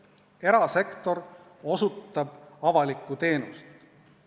Erasektor osutab avalikku teenust.